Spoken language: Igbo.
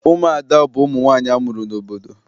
Ụmụada bụ ụmụ nwaanyị amụrụ n'obodo.